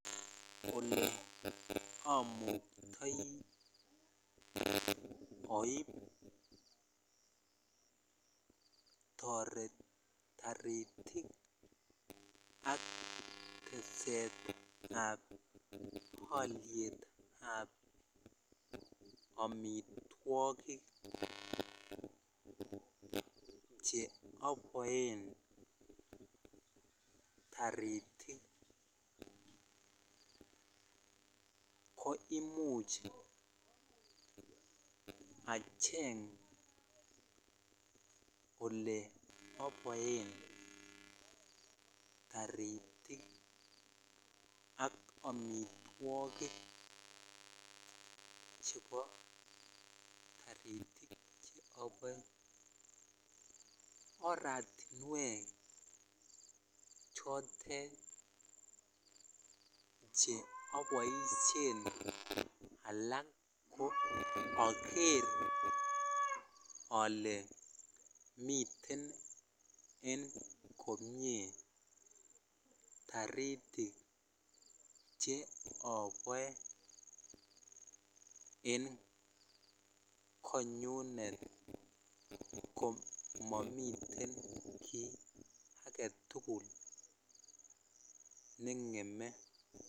Oleamuktai koaib taritik ak teset ab aliet ab amitwagik cheyabarn taritik koimuch acheng ole abaen taritik ak amitwagik chebo taritik cheyabae oratinwek chotet cheabaishen alak koagere ale miten en komie taritik cheyabae en konyumet komamiten ki agetugul nengeme